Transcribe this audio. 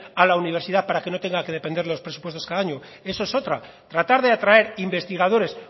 a la universidad para que no tenga que depender de los presupuestos cada año eso es otra tratar de atraer investigadores